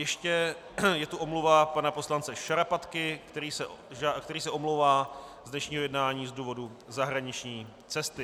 Ještě je tu omluva pana poslance Šarapatky, který se omlouvá z dnešního jednání z důvodu zahraniční cesty.